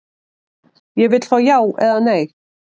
Ég vill fá já eða nei.